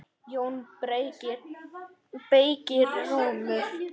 JÓN BEYKIR: Rúmur!